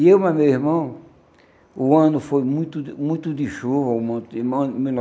E eu mais o meu irmão, o ano foi muito de muito de chuva um monte de,